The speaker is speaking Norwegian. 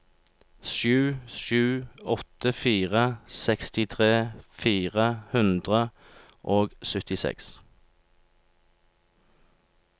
sju sju åtte fire sekstitre fire hundre og syttiseks